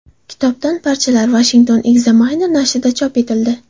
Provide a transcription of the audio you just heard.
Kitobdan parchalar Washington Examiner nashrida chop etildi.